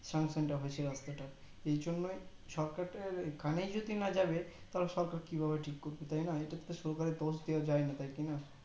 sanction টা হয়েছে রাস্তাটা এই জন্যই সরকারের কানেই যদি এ না যাবে তাহলে সরকার কি ভাবে ঠিক করবে তাইনা এইটা তো সরকারের দোষ দেওয়া যাই না তাই না